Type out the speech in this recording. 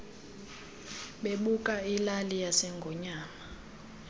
bebuka ilali yasengonyama